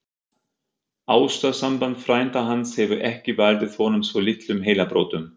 Ástarsamband frænda hans hefur ekki valdið honum svo litlum heilabrotum!